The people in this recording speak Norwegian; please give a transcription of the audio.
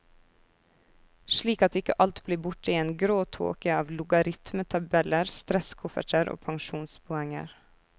Slik at ikke alt blir borte i en grå tåke av logaritmetabeller, stresskofferter og pensjonspoenger.